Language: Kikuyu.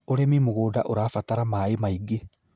Ũrimi mũgũnda ũrabatara maaĩ maingĩ